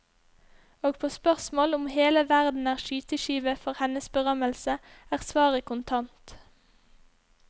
Og på spørsmål om hele verden er skyteskive for hennes berømmelse er svaret kontant.